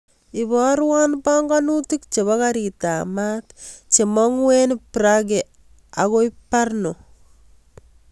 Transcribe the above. Ibarwan panganutik chepo karit ap maat che mangu en prague akoi brno